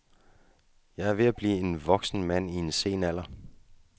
Jeg er ved at blive en voksen mand i en sen alder.